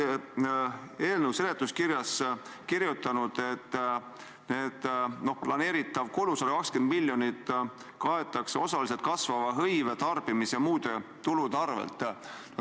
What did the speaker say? Te olete eelnõu seletuskirjas kirjutanud, et planeeritav kulu, 120 miljonit, osaliselt kaetakse kasvava hõive, tarbimise ja muude tulude abil.